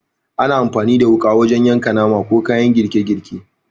Ana amfani da wuƙa wajen yanka nama, ko kayan girke girke.